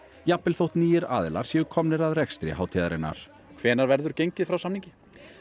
jafnvel þótt nýir aðilar séu komnir að rekstri hátíðarinnar hvenær verður gengið frá samningi